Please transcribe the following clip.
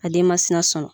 A den ma sina sɔ